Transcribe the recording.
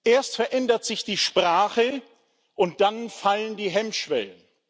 Erst verändert sich die Sprache, und dann fallen die Hemmschwellen.